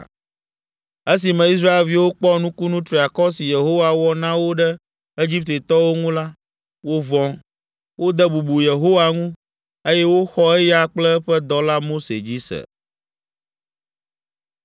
Esime Israelviwo kpɔ nukunu triakɔ si Yehowa wɔ na wo ɖe Egiptetɔwo ŋu la, wovɔ̃, wode bubu Yehowa ŋu, eye woxɔ eya kple eƒe dɔla Mose dzi se.